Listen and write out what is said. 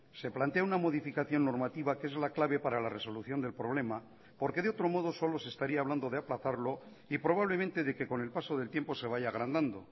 se plantea una modificación normativa que es la clave para la resolución del problema porque de otro modo solo se estaría hablando de aplazarlo y probablemente de que con el paso del tiempo se vaya agrandando